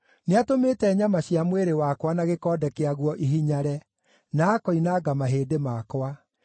Nĩatũmĩte nyama cia mwĩrĩ wakwa na gĩkonde kĩaguo ihinyare, na akoinanga mahĩndĩ makwa.